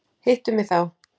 Hittu mig þá.